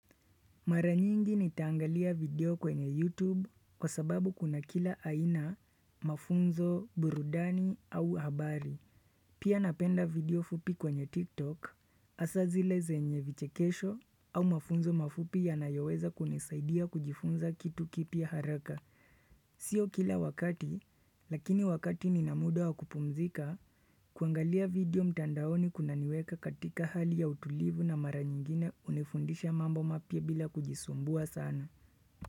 Mara nyingi nitaangalia video kwenye YouTube kwa sababu kuna kila aina mafunzo burudani au habari. Pia napenda video fupi kwenye TikTok hasa zile zenye vichekesho au mafunzo mafupi yanayoweza kunisaidia kujifunza kitu kipya haraka. Sio kila wakati, lakini wakati nina muda wakupumzika kuangalia video mtandaoni kuna niweka katika hali ya utulivu na mara nyingine unifundisha mambo mapya bila kujisumbua sana.